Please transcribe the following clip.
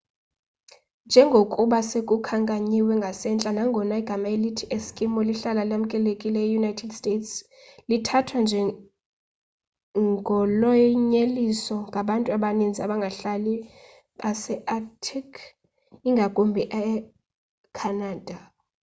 njengokuba sekukhankanyiwe ngasentla nangona igama elithi eskimo lihlala lamkelekile eunited states lithathwa njengolonyeliso ngabantu abaninzi abangahlali base-arctic ngakumbi ecanada